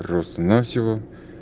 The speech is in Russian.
просто навсего